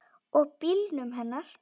Og bílnum hennar.